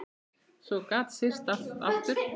Svo gat syrt að aftur.